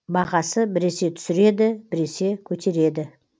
бағасы біресе түсіреді біресе көтереді